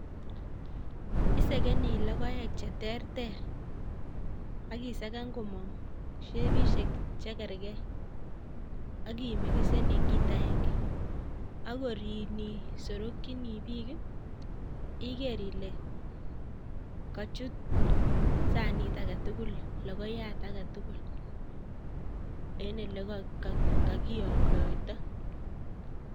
Isegeni logoek cheterter akisagan komong' shepishek chegergei akimixen ing' kiit aenge. akorib nyisurukchini biik igeer ile kachut sanit agetugul logoiyat agetugul ing' olekakiyamdaitoi